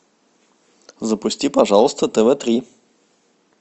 запусти пожалуйста тв три